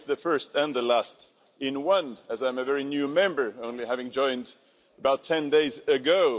For me it's the first and the last in one, as I'm a very new Member, only having joined about 10 days ago.